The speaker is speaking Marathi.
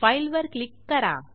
फाइल वर क्लिक करा